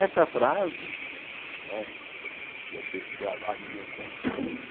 Esta frase, não é deve ter se gravado no meu inconsciente,